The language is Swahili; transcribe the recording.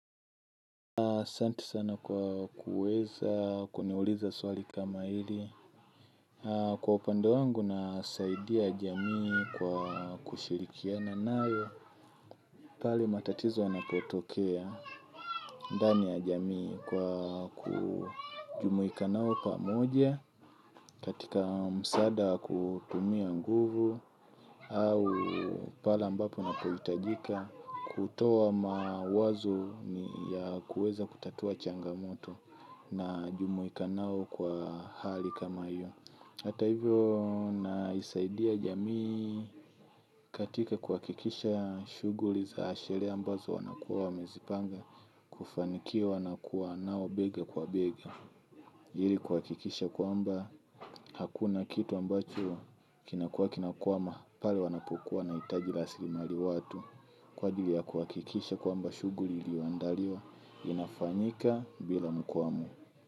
Asanti sana kwa kuweza kuniuliza swali kama hili. Kwa upande wangu nasaidia jamii kwa kushirikina na nayo. Pale matatizo yanapotokea ndani ya jamii kwa kujumuika nao pamoja, katika msaada kutumia nguvu, au pale ambapo ninapohitajika, kutoa mawazo ya kuweza kutatua changamoto najumuika nao kwa hali kama hiyo. Hata hivyo nasaidia jamii katika kuhakikisha shuguli za sherehe ambazo wanakuwa wamezipanga kufanikiwa na kuwa nao bega kwa bega. Ili kuhakikisha kwamba hakuna kitu ambacho kinakuwa kinakwama pale wanapokuwa wanahitaji rasilimali watu kwa ajili ya kuhakikisha kwamba shuguli iyoandaliwa inafanyika bila mkwamo.